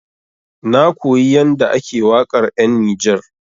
Na koyi yanda ake waƙar 'yan Nijar.